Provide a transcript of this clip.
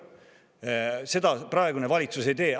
Aga seda praegune valitsus ei tee.